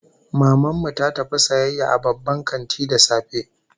Maman mu ta tafi sayayya a babban kanti da safe